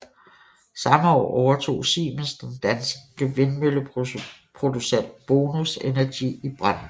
Samme år overtog Siemens den danske vindmølleproducent Bonus Energy i Brande